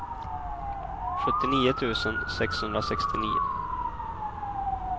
sjuttionio tusen sexhundrasextionio